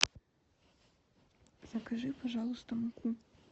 закажи пожалуйста муку